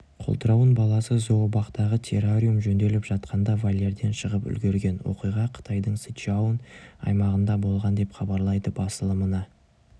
қолтырауын баласы зообақтағытеррариум жөнделіп жатқанда вольерден шығып үлгерген оқиға қытайдың сычуань аймағында болған деп хабарлайды басылымына